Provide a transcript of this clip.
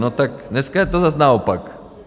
- No tak dneska je to zas naopak.